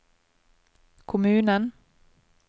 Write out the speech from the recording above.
kommunen